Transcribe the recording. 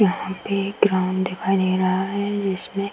यहाँ पे एक ग्राउंड दिखाई दे रहा है जिसमें --